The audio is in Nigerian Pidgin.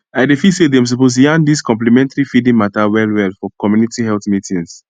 i dey feel say dem suppose yarn dis complementary feeding mata wellwell for community health meetings